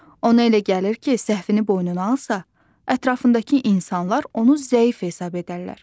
Ona elə gəlir ki, səhvini boynuna alsa, ətrafındakı insanlar onu zəif hesab edərlər.